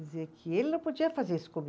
Dizer que ele não podia fazer isso